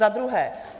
Za druhé.